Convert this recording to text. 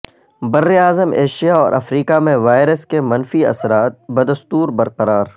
بر اعظم ایشیا اور افریقہ میں وائرس کے منفی اثرات بدستور برقرار